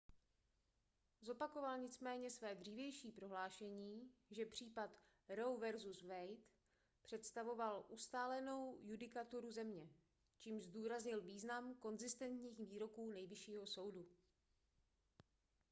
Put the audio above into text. zopakoval nicméně své dřívější prohlášení že případ roe vs wade představoval ustálenou judikaturu země čímž zdůraznil význam konzistentních výroků nejvyššího soudu